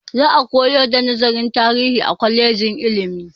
Za a koyar da nazarin tarihi a kwalejin ilimi.